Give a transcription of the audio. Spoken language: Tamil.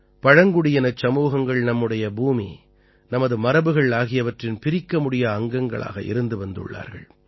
பழங்குடியினச் சமூகங்கள் நம்முடைய பூமி நமது மரபுகள் ஆகியவற்றின் பிரிக்கமுடியா அங்கங்களாக இருந்து வந்துள்ளார்கள்